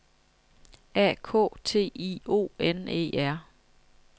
A K T I O N E R